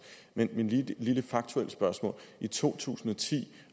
men lige det faktuelle spørgsmål i to tusind og ti